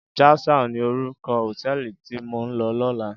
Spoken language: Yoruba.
Jasal ni órúkò hótèlí ti mó n lò lòlá